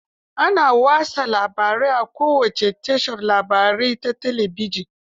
Ana watsa labarai a kowace tashar labarai ta talabijin.